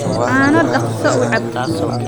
Caano dhaqso u cab.